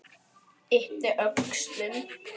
Ypptir öxlum.